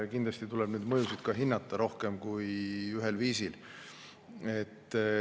Kindlasti tuleb neid mõjusid ka hinnata rohkem kui ühel viisil.